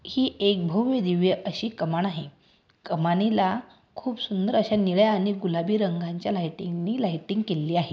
हि एक भव्यदिव्य अशी कमान आहे. कमानीला खूप सुंन्दर अशा निळ्या आणि गुलाबी रंगाच्या लाइटिंगनि लाइटिंग केलेली आहे.